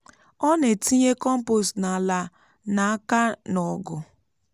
ọ na-etinye kọmpost n’ala n’aka na ọgu.